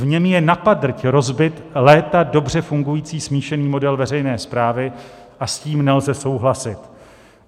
V něm je napadrť rozbit léta dobře fungující smíšený model veřejné správy a s tím nelze souhlasit.